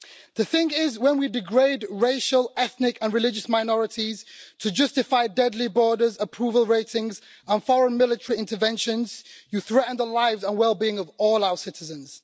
The thing is, when we degrade racial, ethnic and religious minorities to justify deadly borders, approval ratings and foreign military interventions, we threaten the lives and well being of all our citizens.